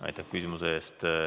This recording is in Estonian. Aitäh küsimuse eest!